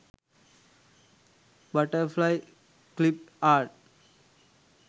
butterfly clip art